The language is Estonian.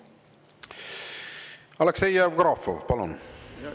Aleksei Jevgrafov, palun!